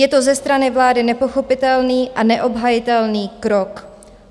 Je to ze strany vlády nepochopitelný a neobhajitelný krok.